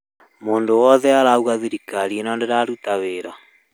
Mũndũ wothe arauga thirikarĩ ĩno ndĩraruta wĩra